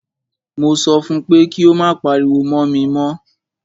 Mo sọ fún pé kí o má pariwo mọ́ mi mọ́!